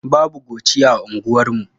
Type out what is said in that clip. Babu coci a unguwarmu.